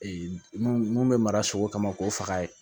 mun bɛ mara sogo kama k'o faga